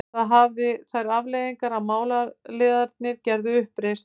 Það hafði þær afleiðingar að málaliðarnir gerðu uppreisn.